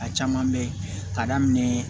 A caman bɛ ye k'a daminɛ